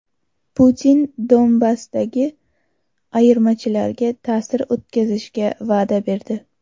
Putin Donbassdagi ayirmachilarga ta’sir o‘tkazishga va’da berdi.